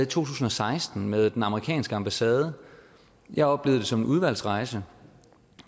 tusind og seksten med den amerikanske ambassade jeg oplevede det som en udvalgsrejse